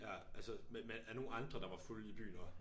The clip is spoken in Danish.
Ja altså med med nogle andre der var fulde i byen også